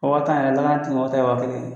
O waa tan yɛrɛ, lakanatigilamɔgɔ ta ye waa kelen ye.